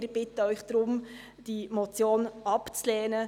Wir bitten Sie deshalb, diese Motion abzulehnen.